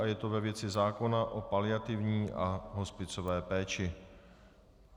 A je to ve věci zákona o paliativní a hospicové péči.